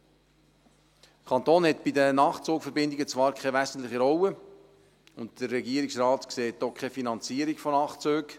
Der Kanton hat bei den Nachtzugverbindungen zwar keine wesentliche Rolle, und der Regierungsrat sieht auch keine Finanzierung von Nachtzügen.